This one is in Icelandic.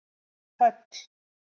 Höll